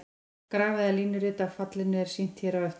Graf eða línurit af fallinu er sýnt hér á eftir.